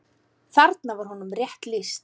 Þarna var honum rétt lýst.